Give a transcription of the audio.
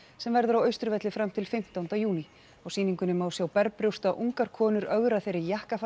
sem verður á Austurvelli fram til fimmtánda júní á sýningunni má sjá ungar konur ögra þeirri